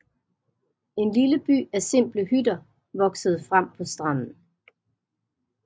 En lille by af simple hytter voksede frem på stranden